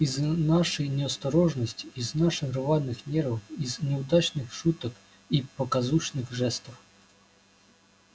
из нашей неосторожности из наших рваных нервов из неудачных шуток и показушных жестов